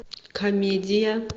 комедия